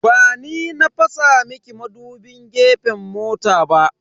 Ba ni na fasa miki madubin gefen mota ba.